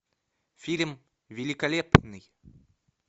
фильм великолепный